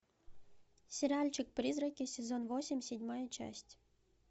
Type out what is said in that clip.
сериальчик призраки сезон восемь седьмая часть